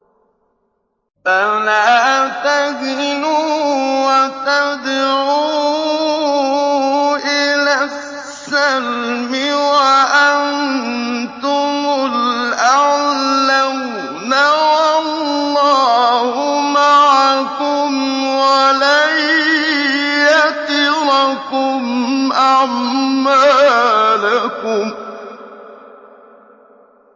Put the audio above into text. فَلَا تَهِنُوا وَتَدْعُوا إِلَى السَّلْمِ وَأَنتُمُ الْأَعْلَوْنَ وَاللَّهُ مَعَكُمْ وَلَن يَتِرَكُمْ أَعْمَالَكُمْ